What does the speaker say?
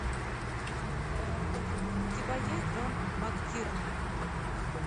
у тебя есть джон мактирнан